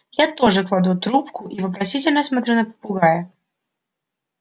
я тоже кладу трубку и вопросительно смотрю на попугая